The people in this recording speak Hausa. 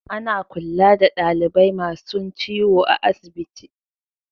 Ana kulla da dalibai masun ciwo a'asibiti.